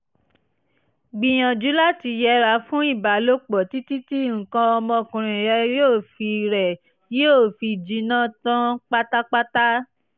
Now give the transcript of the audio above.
gbìyànjú láti yẹra fún ìbálòpọ̀ títí tí nǹkan ọmọkùnrin rẹ yóò fi rẹ yóò fi jinná tán pátápátá